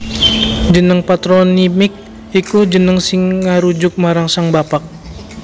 Jeneng patronymik iku jeneng sing ngarujuk marang sang bapak